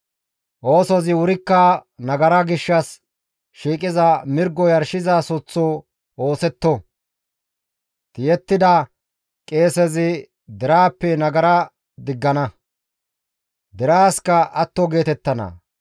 Oosozi wurikka nagara gishshas shiiqiza mirgo yarshizayssaththo ooththetto; tiyettida Qeesezi deraappe nagara diggana; deraasikka atto geetettana.